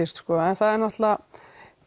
en